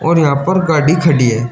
और यहां पर गाडी खड़ी है।